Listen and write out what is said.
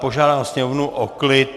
Požádám sněmovnu o klid!